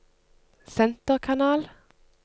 senterkanal